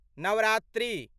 Navratri